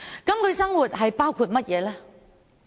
他們的生活包括甚麼呢？